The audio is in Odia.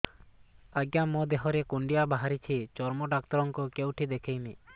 ଆଜ୍ଞା ମୋ ଦେହ ରେ କୁଣ୍ଡିଆ ବାହାରିଛି ଚର୍ମ ଡାକ୍ତର ଙ୍କୁ କେଉଁଠି ଦେଖେଇମି